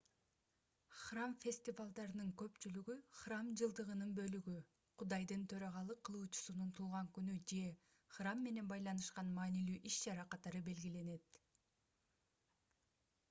храм фестивалдарынын көпчүлүгү храм жылдыгынын бөлүгү кудайдын төрагалык кылуучусунун туулган күнү же храм менен байланышкан маанилүү иш-чара катары белгиленет